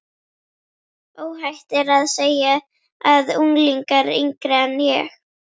Óhætt er að segja að unglingar yngri en